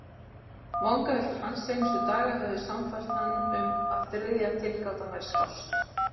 Vangaveltur hans seinustu daga höfðu sannfært hann um að þriðja tilgátan væri skást.